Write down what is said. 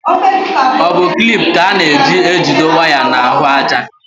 Ọ bụ klip ka a na-eji ejido waya n'ahụájá.